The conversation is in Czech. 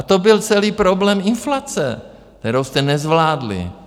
A to byl celý problém inflace, kterou jste nezvládli.